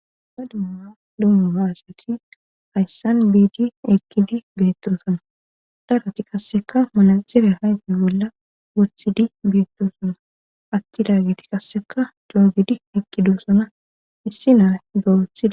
ba dumma lummu ba asati hayssan biidi eqqidi beettoosana daroti qasseka manaxire ayife bolla wothidi biettosona aatidagiti qasseka coogidi eqidoosona issi na'a wothids